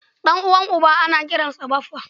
Ɗan'uwan uba ana kiransa Baffa